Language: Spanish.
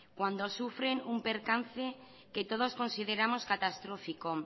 cuando sufren un percance que todos consideremos catastrófico